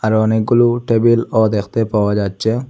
আরও অনেকগুলো টেবিলও দেখতে পাওয়া যাচ্চে ।